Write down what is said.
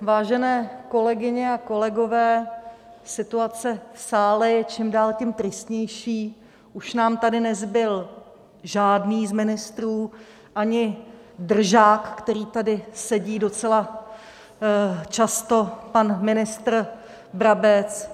Vážené kolegyně a kolegové, situace v sále je čím dál tím tristnější, už nám tady nezbyl žádný z ministrů, ani držák, který tady sedí docela často, pan ministr Brabec.